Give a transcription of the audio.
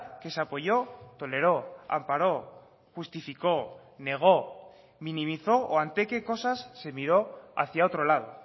que se apoyó toleró amparó justificó negó minimizó o ante qué cosas se miró hacia otro lado